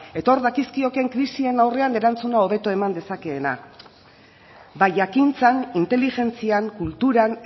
eta hor dakizkioken krisien aurrean erantzuna hobeto eman dezakeena bai jakintzan inteligentzian kulturan